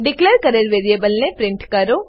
declare કરેલ વેરીએબલને print કરો